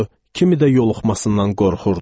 kimi də yoluxmasından qorxurdu.